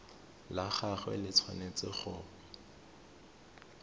la gagwe le tshwanetse go